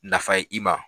Nafa ye i ma